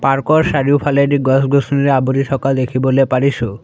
Park ৰ চাৰিওফালেদি গছ গছনিৰে আৱৰি থকা দেখিবলৈ পাৰিছোঁ।